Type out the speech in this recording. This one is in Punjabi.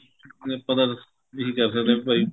ਨੀ ਆਪਾਂ ਤਾਂ ਇਹੀ ਕਹਿ ਸਕਦੇ ਆ ਬੀ ਭਾਈ